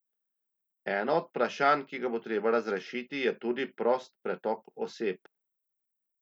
Eno od vprašanj, ki ga bo treba razrešiti, je tudi prost pretok oseb.